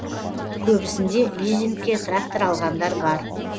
көбісінде лизингке трактор алғандар бар